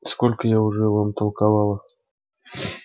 сколько я уже вам толковала